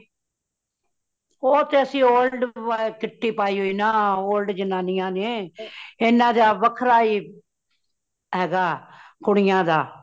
ਉਹ ਤੇ ਅਸੀ old ਵਾਲੀ kitty ਪਾਈ ਹੋਈ ਨਾ , old ਜ਼ਨਾਨੀਆਂ ਨੇ ਏਨਾ ਦਾ ਵੱਖਰਾ ਹੀ , ਹੇਗਾ ਕੁੜੀਆਂ ਦਾ